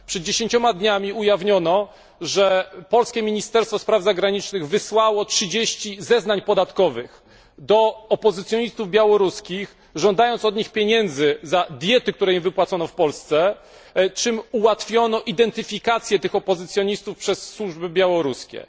Przed dziesięcioma dniami ujawniono, że polskie Ministerstwo Spraw Zagranicznych wysłało 30 zeznań podatkowych do opozycjonistów białoruskich, żądając od nich pieniędzy za diety, które im wypłacono w Polsce, czym ułatwiono identyfikację tych opozycjonistów przez służby białoruskie.